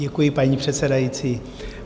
Děkuji, paní předsedající.